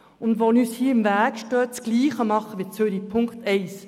Das steht uns im Weg, wenn wir uns am Beispiel von Zürich orientieren wollen.